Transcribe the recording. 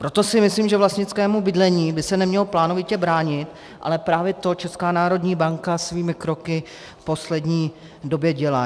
Proto si myslím, že vlastnickému bydlení by se nemělo plánovitě bránit, ale právě to Česká národní banka svými kroky v poslední době dělá.